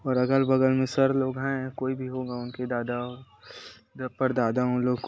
और अगल-बगल में सर लोग है कोई भी होगा उनके दादा पर दादा उन लोग--